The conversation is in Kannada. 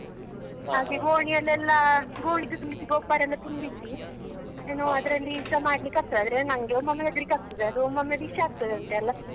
ಹಾಗೆ ಗೋಣಿಯಲ್ಲಿ ಎಲ್ಲ ಗೋಣಿದು ತುಂಬಿಸಿ ಗೊಬ್ಬರ ತುಂಬಿಸಿ ಏನೋ ಅದ್ರಲ್ಲಿಸ ಮಾಡ್ಲಿಕ್ಕೆ ಆಗ್ತದೆ ಆದ್ರೆ ನನ್ಗೆ ಒಮ್ಮೊಮ್ಮೆ ಹೆದ್ರಿಕೆ ಆಗ್ತದೆ ಅದು ಒಮ್ಮೊಮ್ಮೆ ವಿಷ ಆಗ್ತದಂತೆಲ್ಲಾ.